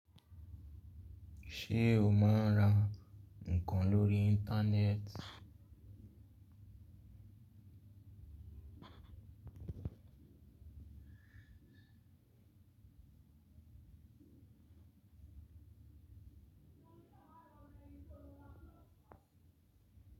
Ṣé o máa ń ra nǹkan lórí Íńtánẹ́ẹ̀tì?